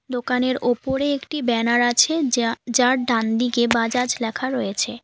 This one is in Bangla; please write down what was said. দোকানের ওপরে একটি ব্যানার আছে যা যার ডানদিকে বাজাজ লেখা রয়েছে।